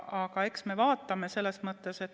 Aga eks me vaatame.